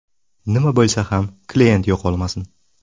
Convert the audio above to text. Nima bo‘lsa ham kliyent yo‘qolmasin.